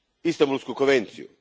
Istanbulsku konvenciju,